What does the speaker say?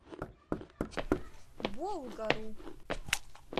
болгару